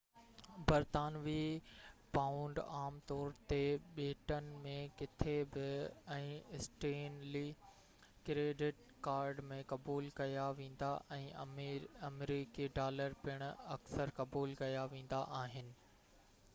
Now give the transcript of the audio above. برطانوي پائونڊ عام طور تي ٻيٽن ۾ ڪٿي به ۽ اسٽينلي ڪريڊٽ ڪارڊ ۾ قبول ڪيا ويندا ۽ آمريڪي ڊالر پڻ اڪثر قبول ڪيا ويندا آهن